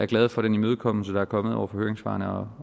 glade for den imødekommelse der er kommet over for høringssvarene og